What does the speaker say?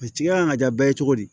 kan ka ja bɛɛ ye cogo di